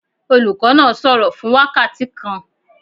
Olùkọ́ náà sọ̀rọ̀ fún wákàtí kan.